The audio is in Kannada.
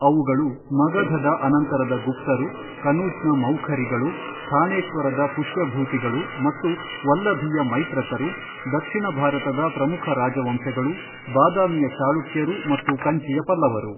ಅವುಗಳು ಮಗಧದ ಅನಂತರದ ಗುಪ್ತರು ಕನೂಜ್ ನ ಮೌಖರಿಗಳು ಥಾಣೇಶ್ವರದ ಪುಶ್ಯಭೂತಿಗಳು ಮತ್ತು ವಲ್ಲಭಿಯ ಮೈತ್ರಕರು ದಕ್ಷಿಣ ಭಾರತದ ಪ್ರಮುಖ ರಾಜವಂಶಗಳು ಬಾದಾಮಿಯ ಚಾಳುಕ್ಯರು ಮತ್ತು ಕಂಚಿಯ ಪಲ್ಲವರು.